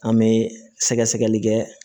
An bɛ sɛgɛsɛgɛli kɛ